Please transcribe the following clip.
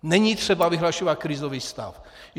Není třeba vyhlašovat krizový stav.